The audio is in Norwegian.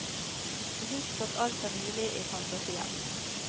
Husk at alt er mulig i fantasien.